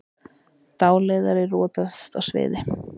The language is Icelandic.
Dáleiðari rotaðist á sviði